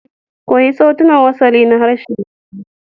Koyi sautunan wasali na harshen yanzu